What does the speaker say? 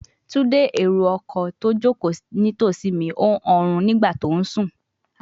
Tunde, ero-ọkọ ti o joko nitosi mi n hun orun nigba ti o sùn